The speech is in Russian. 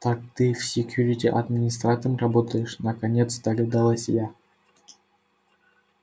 так ты в секьюрити администратором работаешь наконец догадалась я